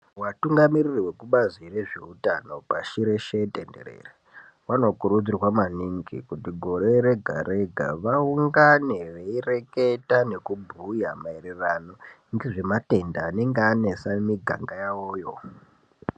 Watungamiriri wezvekubazi reutano pashi reshe tenderere wanokurudzirwa maningi kuti gore rega-rega vaungane veireketa nekubhuya maererano ngezvenatebda anenge anesa mumiganga yawoyo.